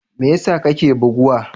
Me yasa kake buguwa?